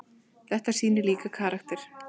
Þetta sýnir líka karakter.